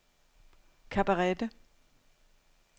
Cabarete